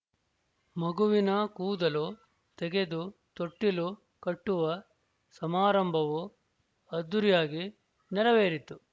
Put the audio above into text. ಮಗುವಿನ ಕೂದಲು ತೆಗೆದು ತೊಟ್ಟಿಲು ಕಟ್ಟುವ ಸಮಾರಂಭವೂ ಅದ್ದೂರಿಯಾಗಿ ನೆರವೇರಿತು